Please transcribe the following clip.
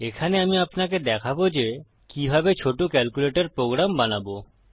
এখানে আমি আপনাকে দেখাবো যে কিভাবে ছোট ক্যালকুলেটর প্রোগ্রাম বানাবো